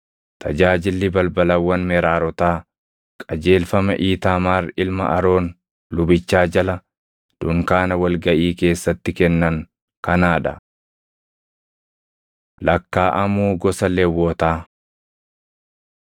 Tajaajilli balbalawwan Meraarotaa qajeelfama Iitaamaar ilma Aroon lubichaa jala dunkaana wal gaʼii keessatti kennan kanaa dha.” Lakkaaʼamuu Gosa Lewwotaa